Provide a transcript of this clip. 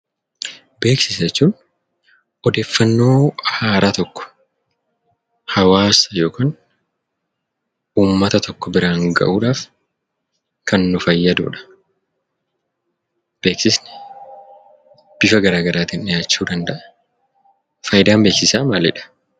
Beeksisa jechuun odeeffannoo haaraa tokko, hawaasa yookaan uummata tokko biraan gahuudhaaf kan nu fayyadu dha. Beeksisni bifa gara garaatiin dhiyaachuu danda'a. Faayiidaan beeksisaa maali dha?